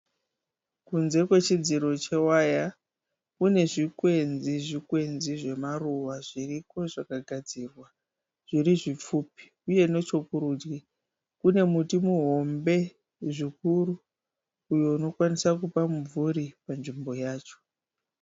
Kunze kwechidziro chewaya. Kune zvikwezvikwenzi zvemaruva zviriko zvakagadzirwa zvirizvipfupi. Uye nechokurudyi kune muti muhombe zvikuru, uyo unokwanisa kupa mumvuri panzvimbo yacho.